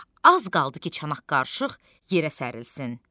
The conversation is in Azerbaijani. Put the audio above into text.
Az qaldı ki, çanaq qarışıq yerə sərilsin.